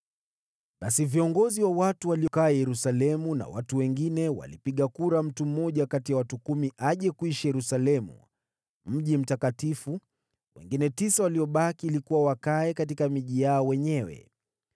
Basi viongozi wa watu walikaa Yerusalemu, nao watu wale wengine walipiga kura ili kuleta mtu mmoja kati ya watu kumi aje kuishi Yerusalemu, mji mtakatifu, nao wengine tisa waliobaki wakae katika miji yao wenyewe.